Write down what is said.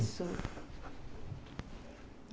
Isso.